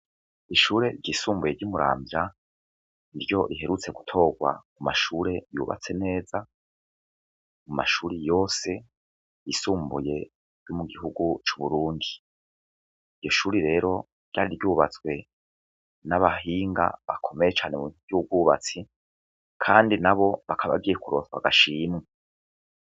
Ishure ryisumbuye ry'umuramvya iryo riherutse gutorwa mu mashure yubatse neza mu mashuri yose risumbuye ry'umu gihugu c'uburundi iryo shuri rero ryari ryubatswe n'abahinga bakomeye cane mu ryubwubatsi, kandi na bo bakabagiye kurotwa agashimwa.